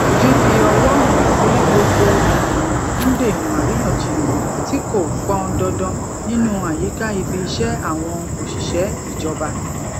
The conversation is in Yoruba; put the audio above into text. fífi ọwọ hàn sí gbogbo ènìyàn ń dènà àríyànjiyàn tí kò pọn dandan nínú àyíká ibi iṣẹ àwọn òṣìṣẹ ìjọba